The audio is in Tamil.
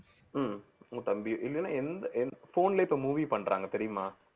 ஹம் உங்க தம்பி இல்லைன்னா எந்த எந்~ phone லே இப்ப movie பண்றாங்க தெரியுமா